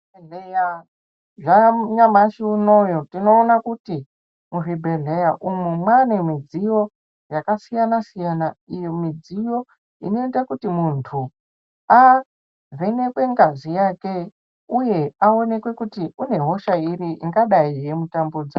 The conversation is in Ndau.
Zvanyamashi unoyu tinoona kuti muzvibhleya umo maane midziyo yakasiyana siyana iyi midziyo inoita kuti muntu avhenekwe ngazi yake uye awonekwe kuti ane hosha iri ingadai yeimutambudza